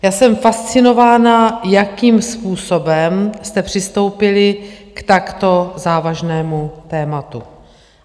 Já jsem fascinována, jakým způsobem jste přistoupili k takto závažnému tématu.